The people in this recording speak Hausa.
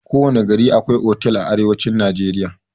Kowana gari akwai otal a arewacin najeriya.